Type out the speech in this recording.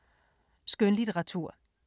Skønlitteratur